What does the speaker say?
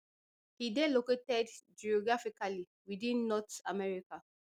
e dey located geographically within north america